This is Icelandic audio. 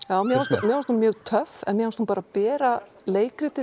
mér fannst mér fannst hún mjög töff en mér fannst hún bera leikritið